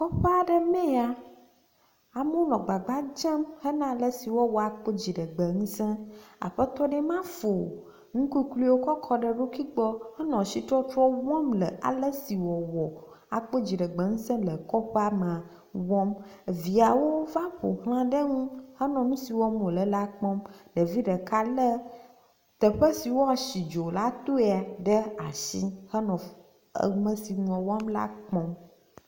Kɔƒe aɖe mee ya, amewo nɔ gbagba dzem hena alesi woawɔ akpɔ dziɖegbe ŋusẽ. Aƒetɔ ɖee ma fɔ nukukluiwo kɔ ɖe eɖokui gbɔ henɔ asitɔtrɔ wɔm le aleso wòawɔ akpɔ dziɖeŋusẽ le le kɔƒea mea, wɔm. viawo va ƒo xla ɖe ŋu henɔ nu si wɔm wònɔ la kpɔm. Ɖevi ɖeka lé teƒe si woasi dzo la toea ɖe asi hele ame si nua wɔm la kpɔm.